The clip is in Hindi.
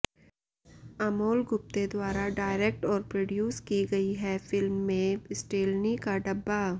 अमोल गुप्ते द्वारा डायरेक्ट और प्रोड्यूस की गई है फिल्म में स्टेलनी का डब्बा